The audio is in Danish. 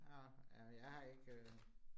Nåh øh jeg har ikke